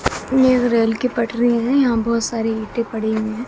यहां रेल की पटरी है यहां बहुत सारी ईंटे पड़ी हुए हैं।